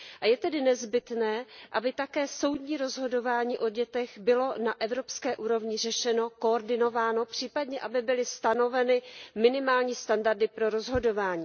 Je tedy nezbytné, aby také soudní rozhodování o dětech bylo na evropské úrovni řešeno, koordinováno, případně, aby byly stanoveny minimální standardy pro rozhodování.